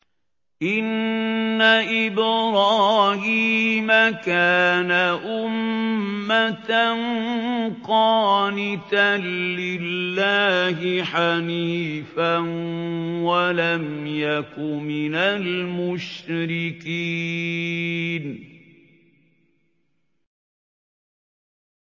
إِنَّ إِبْرَاهِيمَ كَانَ أُمَّةً قَانِتًا لِّلَّهِ حَنِيفًا وَلَمْ يَكُ مِنَ الْمُشْرِكِينَ